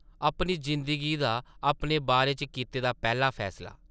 अपनी जिंदगी दा अपने बारे च कीते दा पैह्ला फैसला ।